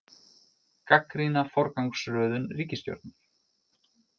Gagnrýna forgangsröðum ríkisstjórnar